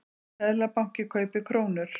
Seðlabanki kaupir krónur